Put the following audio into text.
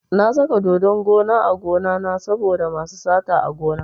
Na saka dodon gona a gonana saboda masu sata a gona.